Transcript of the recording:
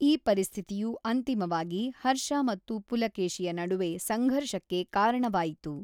ಈ ಪರಿಸ್ಥಿತಿಯು ಅಂತಿಮವಾಗಿ ಹರ್ಷ ಮತ್ತು ಪುಲಕೇಶಿಯ ನಡುವೆ ಸಂಘರ್ಷಕ್ಕೆ ಕಾರಣವಾಯಿತು.